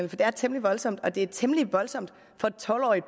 det er temmelig voldsomt og det er temmelig voldsomt for et tolv årig